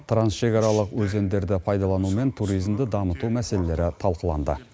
трансшекаралық өзендерді пайдалану мен туризмді дамыту мәселелері талқыланды